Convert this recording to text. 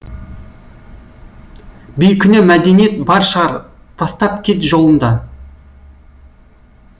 бейкүнә мәдениет бар шығар тастап кет жолында